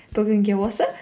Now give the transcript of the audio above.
бүгінге осы